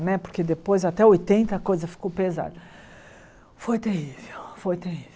Né porque depois até oitenta a coisa ficou pesada foi terrível foi terrível